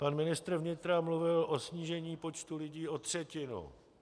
Pan ministr vnitra mluvil o snížení počtu lidí o třetinu.